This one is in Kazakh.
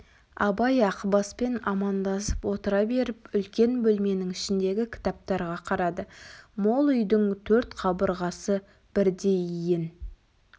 абай ақбаспен амандасып отыра беріп үлкен бөлменің ішіндегі кітаптарға қарады мол үйдің төрт қабырғасы бірдей иін